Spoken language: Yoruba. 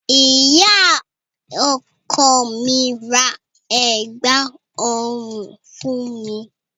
Ìyá ọkọ mi ra ẹ̀gbá-ọrùn fún mi.